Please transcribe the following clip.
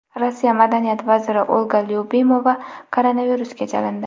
Rossiya madaniyat vaziri Olga Lyubimova koronavirusga chalindi.